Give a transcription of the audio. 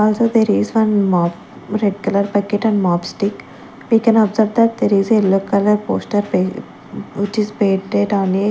also there is one mop red colour bucket and mop stick we can observe that there is yellow colour poster which is on a--